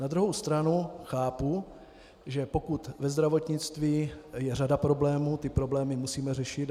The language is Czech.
Na druhou stranu chápu, že pokud ve zdravotnictví je řada problémů, ty problémy musíme řešit.